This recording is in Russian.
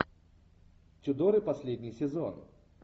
тюдоры последний сезон